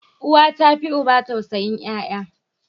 Uwa ta fi uba tausayin yaya.